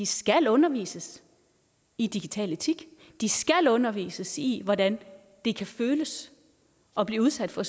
skal undervises i digital etik de skal undervises i hvordan det kan føles at blive udsat for